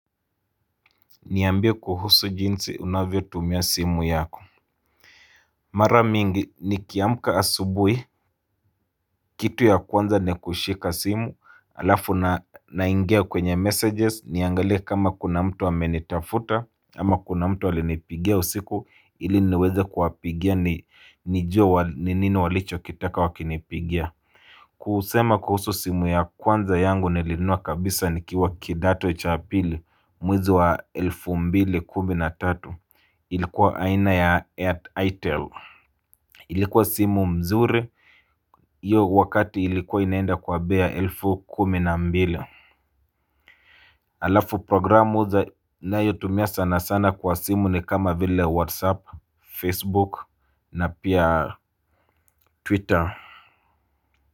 Niambie kuhusu jinsi unavyo tumia simu yako Mara mingi nikiamka asubuhi Kitu ya kwanza ni kushika simu alafu naingia kwenye messages niangalie kama kuna mtu amenitafuta ama kuna mtu alinipigia usiku ili niweze kuwapigia nijue ni nini walichokitaka wakinipigia kusema kuhusu simu ya kwanza yangu nilinunua kabisa nikiwa kidato cha pili mwezi wa elfu mbili kumi na tatu ilikuwa aina ya at itel ilikuwa simu mzuri Iyo wakati ilikuwa inaenda kwa bei ya elfu kumi na mbili Alafu programu za nayo tumia sana sana kwa simu ni kama vile whatsapp, facebook na pia twitter.